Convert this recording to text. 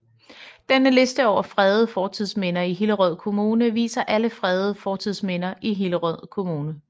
Denne liste over fredede fortidsminder i Hillerød Kommune viser alle fredede fortidsminder i Hillerød Kommune